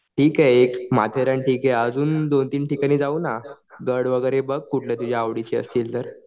ठीक आहे एक माथेरान ठीक आहे अजून दोन तीन ठिकाणी जाऊ ना. गड वगैरे बघ कुठले तुझ्या आवडीचे असले तर.